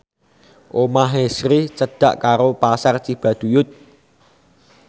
omahe Sri cedhak karo Pasar Cibaduyut